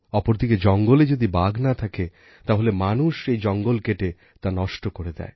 অপরদিকে জঙ্গলে যদি বাঘ না থাকে তাহলে মানুষ সেই জঙ্গল কেটে তা নষ্ট করে দেয়